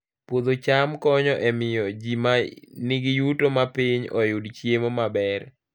Puodho cham konyo e miyo ji ma nigi yuto mapiny oyud chiemo maber